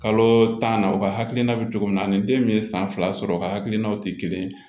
Kalo tan na u ka hakilina bɛ cogo min na ani den min ye san fila sɔrɔ u ka hakilinaw tɛ kelen ye